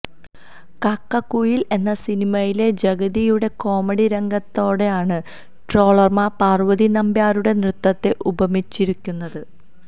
കാക്കക്കുയില് എന്ന സിനിമയിലെ ജഗതിയുടെ കോമഡി രംഗത്തോടാണ് ട്രോളര്മാര് പാര്വതി നമ്പ്യാരുടെ നൃത്തത്തെ ഉപമിച്ചിരുക്കുന്നത്